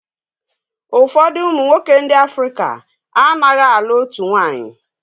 Ụfọdụ ụmụnwoke ndị Africa a naghị alụ otu nwanyị.